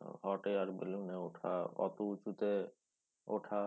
আহ hot air balloon এ ওঠা অত উঁচুতে ওঠা